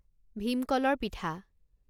ভীম কলৰ পিঠা